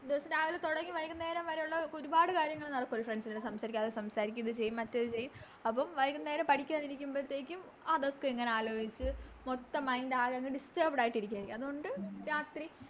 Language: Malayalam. ദിവസം രാവിലെ തൊടങ്ങി വൈകുന്നേരം വരെ ഒള്ള ഒരുപാട് കാര്യങ്ങള് നമക്ക് Friends നോട് സംസാരിക്കും അത് സംസാരിക്കും അത് ചെയ്യും ഇത് ചെയ്യും അപ്പോം വൈകുന്നേരം പഠിക്കാൻ ഇരുമ്പത്തേക്കും അതൊക്കെ ഇങ്ങനെ ആലോചിച്ച് മൊത്തം Mind ആകെ അങ് Disturbed ആയിട്ട് ഇരിക്കുവാരിക്കും അത് കൊണ്ട് രാത്രി